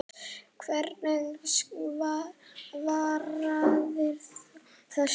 Hverju svararðu þessu?